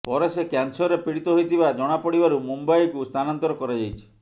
ପରେ ସେ କ୍ୟାନସରରେ ପୀଡିତ ହୋଇଥିବା ଜଣାପଡିବାରୁ ମୁମ୍ବାଇକୁ ସ୍ଥାନାନ୍ତରିତ କରାଯାଇଛି